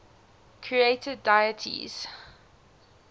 creator deities